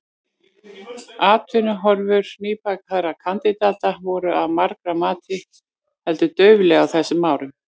Atvinnuhorfur nýbakaðra kandidata voru, að margra mati, heldur dauflegar á þessum árum.